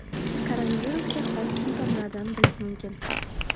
Koronavirusga xos simptomlardan bilish mumkin.